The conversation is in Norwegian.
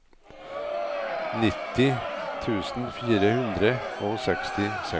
nitti tusen fire hundre og sekstiseks